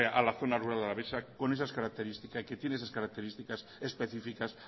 a la zona rural alavesa con esas características que tiene esas características especificas